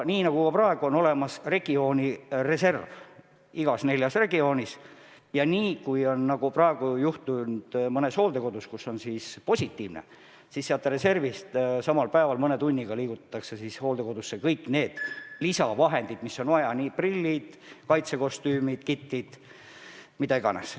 Praegu on olemas reserv igas neljas regioonis ja kui on mõnes hooldekodus raske seis, siis sellest reservist mõne tunniga viiakse hooldekodusse kõik lisavahendid, mida on vaja: prillid, kaitsekostüümid, kitlid, mida iganes.